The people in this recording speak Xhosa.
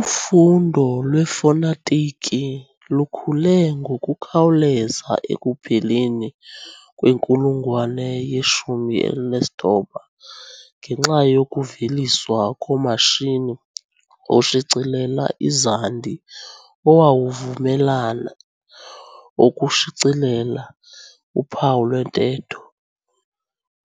Ufundo lwefonetiki lukhule ngokukhawuleza ekupheleni kwenkulungwane ye-19 ngenxa yokuveliswa komashini oshicilela izandi owawuvumelana ukushicelela uphawu lwentetho.